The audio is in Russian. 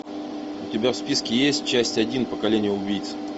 у тебя в списке есть часть один поколение убийц